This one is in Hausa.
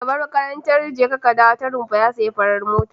Shugaban makarantar jeka ka dawo ta Rumfa ya sayi fara mota.